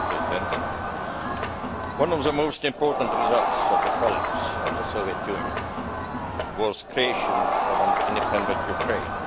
Mr President, one of the most important results of the collapse of the Soviet Union was the creation of an independent Ukraine.